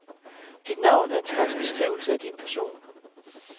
Dit navn er en slags beskrivelse af din person.